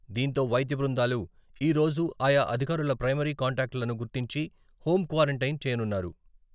దీంతో వైద్య బృందాలు ఈ రోజు ఆయా అధికారుల ప్రైమరీ కాంటాక్ట్ లను గుర్తించి హోం క్వారంటైన్ చేయనున్నారు.